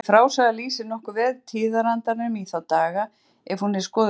Þessi frásaga lýsir nokkuð vel tíðarandanum í þá daga ef hún er skoðuð grannt.